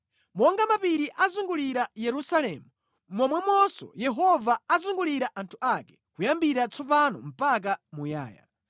Monga mapiri azungulira Yerusalemu, momwemonso Yehova azungulira anthu ake kuyambira tsopano mpaka muyaya.